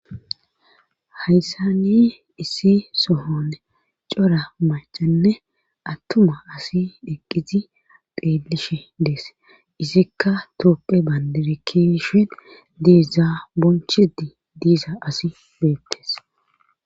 Hayssani issi sohone cora macanne attuma asi eqqizi qeelishe dees izikka tooqe banderekishe diizaa bonchidi diiza asi beettes.